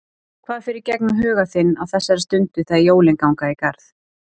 Hvað fer í gegnum huga þinn á þessari stundu þegar jólin ganga í garð?